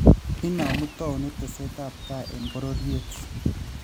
Inomu towuniit teeesetabtai e bororyet